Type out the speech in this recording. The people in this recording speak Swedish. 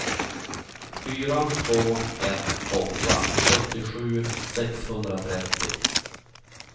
fyra två ett åtta sjuttiosju sexhundratrettio